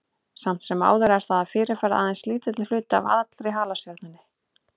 Samt sem áður er það að fyrirferð aðeins lítill hluti af allri halastjörnunni.